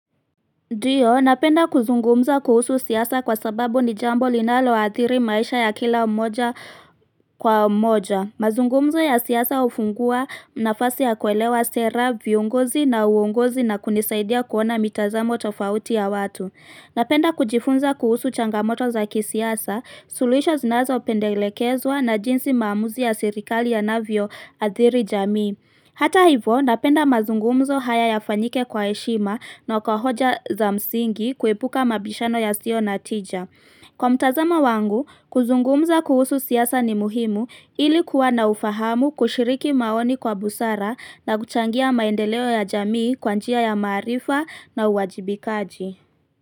Ndio, napenda kuzungumza kuhusu siasa kwa sababu ni jambo linalo athiri maisha ya kila mmoja kwa mmoja. Mazungumzo ya siasa ufungua na fasi ya kuelewa sera, viongozi na uongozi na kunisaidia kuona mitazamo tofauti ya watu. Napenda kujifunza kuhusu changamoto za kisiasa, suluhisho zinazopendelekezwa na jinsi maamuzi ya serikali ya navyo athiri jamii. Hata hivo napenda mazungumzo haya ya fanyike kwa eshima na kwa hoja za msingi kuepuka mabishano ya sio na tija. Kwa mtazamo wangu, kuzungumza kuhusu siasa ni muhimu ilikuwa na ufahamu kushiriki maoni kwa busara na kuchangia maendeleo ya jamii kwanjia ya maarifa na uwajibikaji.